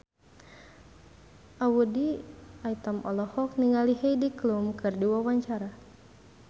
Audy Item olohok ningali Heidi Klum keur diwawancara